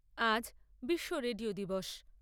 আজ বিশ্ব রেডিও দিবস।